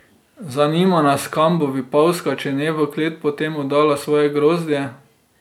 Zanima nas, kam bo Vipavska, če ne v klet, potem oddala svoje grozdje.